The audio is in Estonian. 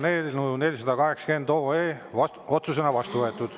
Eelnõu 480 on otsusena vastu võetud.